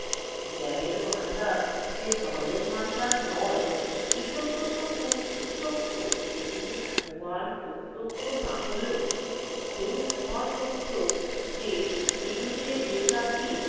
জ্ঞানের ভান্ডার যে ধনের ভান্ডার নয় এ সত্যতো প্রত্যক্ষ। কিন্তু সমান প্রত্যক্ষ না হলেও এও সমান সত্য যে এ যুগের যে জাতির